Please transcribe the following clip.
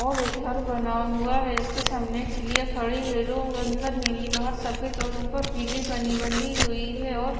और घर बना हुआ है इसके सामने ठिलियां खड़ी है जो अंदर नीली बाहर सफेद और ऊपर पीली पनी बंधी हुई है और--